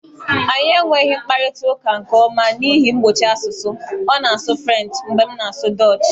Anyị enweghị mkparịta ụka nke ọma n'ihi ihe mgbochi asụsụ, ọ na-asụ Frenchị mgbe m na-asụ Dọọchị